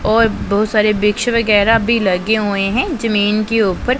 और बहुत सारे वृक्ष वगैरा भी लगे हुए हैं जमीन के ऊपर--